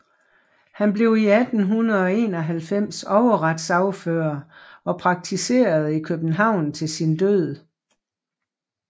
Han blev 1891 overretssagfører og praktiserede i København til sin død